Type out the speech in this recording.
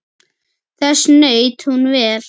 Þess naut hún vel.